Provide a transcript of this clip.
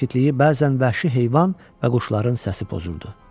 Sakitliyi bəzən vəhşi heyvan və quşların səsi pozurdu.